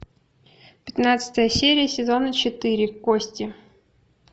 пятнадцатая серия сезона четыре кости